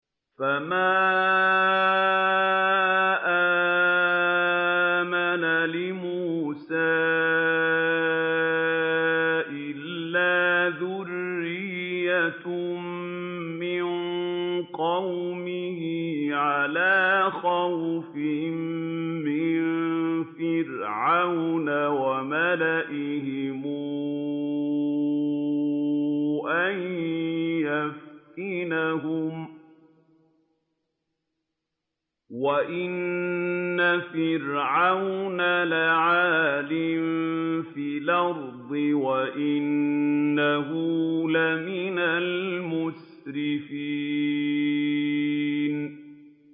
فَمَا آمَنَ لِمُوسَىٰ إِلَّا ذُرِّيَّةٌ مِّن قَوْمِهِ عَلَىٰ خَوْفٍ مِّن فِرْعَوْنَ وَمَلَئِهِمْ أَن يَفْتِنَهُمْ ۚ وَإِنَّ فِرْعَوْنَ لَعَالٍ فِي الْأَرْضِ وَإِنَّهُ لَمِنَ الْمُسْرِفِينَ